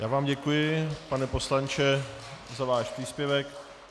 Já vám děkuji, pane poslanče, za váš příspěvek.